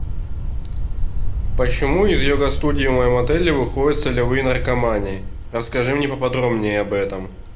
почему из йога студии в моем отеле выходят солевые наркоманы расскажи мне поподробнее об этом